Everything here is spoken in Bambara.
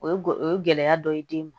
O ye o ye gɛlɛya dɔ ye den ma